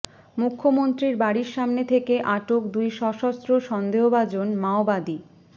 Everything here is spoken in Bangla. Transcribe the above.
মুখ্যমন্ত্রীর বাড়ির সামনে থেকে আটক দুই সশস্ত্র সন্দেহভাজন মাওবাদী